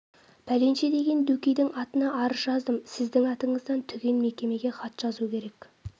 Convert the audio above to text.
пәленше деген дөкейдің атына арыз жаздым сіздің атыңыздан түген мекемеге хат жазу керек